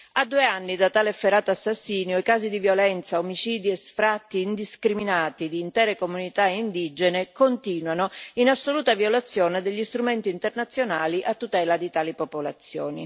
A due anni da tale efferato assassinio i casi di violenza, omicidi e sfratti indiscriminati di intere comunità indigene continuano, in assoluta violazione degli strumenti internazionali a tutela di tali popolazioni.